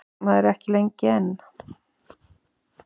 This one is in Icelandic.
Maður er ekki lengur einn.